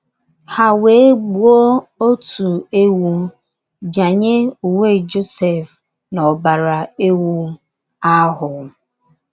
Ha wéé gbuo otu ewú, bịanye uwe Josef n’ọbara ewú ahụ.